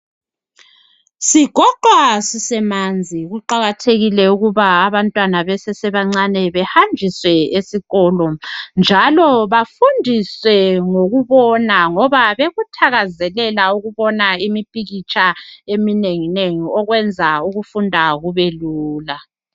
Sigoqwa sisemanzi. Kuqakathekile ukuba abantwana besesebancinyane behanjiswe esikolo, njalo bafundiswe ngokubona, Ngoba bekuthakazelela ukufunda ngemipikitsha eminenginengi. Okwenza ukufunda kubelula.